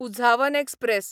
Uzhavan express